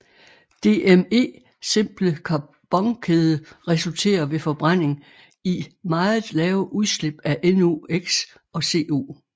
DME simple carbonkæde resulterer ved forbrænding i meget lave udslip af NOx og CO